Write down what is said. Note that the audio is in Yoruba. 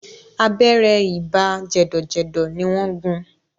Abẹ́rẹ́ ibà jẹ̀dọ̀jẹ̀dọ̀ ni wọ́n gún un.